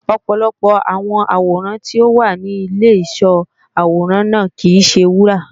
ọ̀pọ̀lọpọ̀ àwọn àwòrán tí ó wà ní Ìlé ìsó àwòrán náà kìí se wúrà